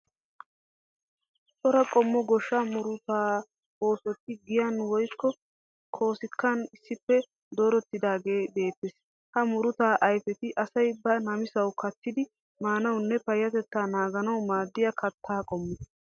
Cora qommo goshshaa murutaa oosoti giyaan woyikko koskkiyan issippe doorettidaage beettees. Ha murutaa ayfeti asay ba namisawu kattidi maanawunne payyatettaa naaganawu maaddiya katta qommo.